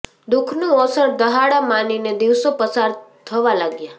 દુઃખનું ઓસડ દહાડા માનીને દિવસો પસાર થવા લાગ્યા